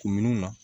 Kunminnu na